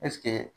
Ɛseke